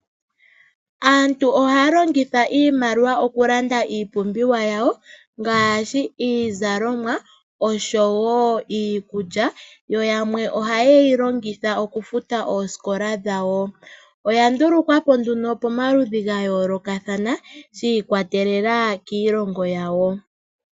Aantu ohaya longitha iimaliwa okulanda iipumbiwa yawo ngaashi, iizalomwa osho wo iikulya, yo yamwe ohayeyi longitha okufuta oosikola dhawo. Oyandulukwa po nduno momaludhi gayoolokathana shiikwatelela kiilongo yawo.